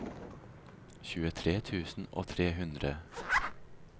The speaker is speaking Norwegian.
tjuetre tusen og tre hundre